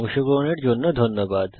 অংশগ্রহনের জন্য ধন্যবাদ